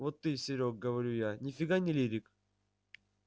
вот ты серёг говорю я ни фига не лирик